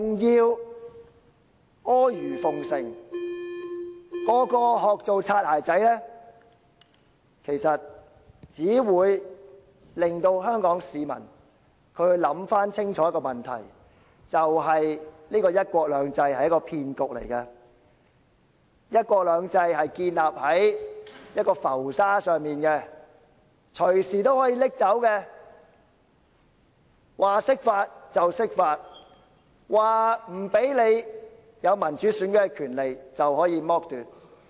其實，這樣做只會令香港市民想清楚："一國兩制"是個騙局，"一國兩制"建立在浮沙上，隨時可以取走，說釋法便釋法，說不讓香港人有民主選舉的權利，就可以剝奪。